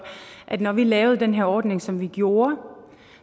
at når vi lavede den her ordning som vi gjorde